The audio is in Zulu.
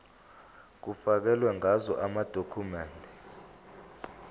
kufakelwe ngazo amadokhumende